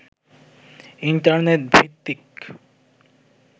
internet ভিত্তিক